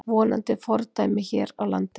Vonandi fordæmi hér á landi